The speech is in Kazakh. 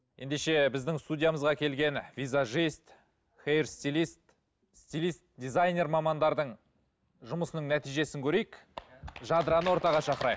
ендеше біздің студиямызға келген визажист хейр стилист стилист дизайнер мамандардың жұмысының нәтижесін көрейік жадыраны ортаға шақырайық